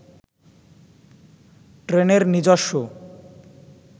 ট্রেনের নিজস্ব